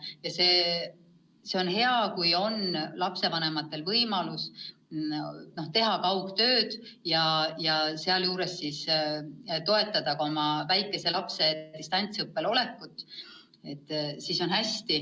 Ja see on hea, kui lapsevanematel on võimalus teha kaugtööd ja samas toetada oma väikese lapse distantsõppel olekut.